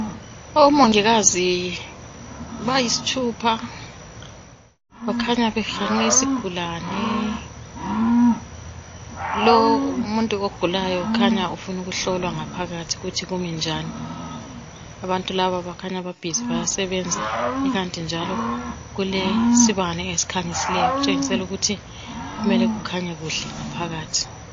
Omongikazi bayisithupha bakhanya behanqe isigulani lo umuntu ogulayo ukhanya ufuna hlolwa ngaphathi ukuthi kuminjani abantu laba bakhanya babhizi bayasebenza ikant njalo kulesibani esikhanyiseleyo esitshengisela ukuthi kumele kukhanye ngaphakathi